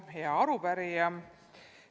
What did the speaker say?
Hea arupärija!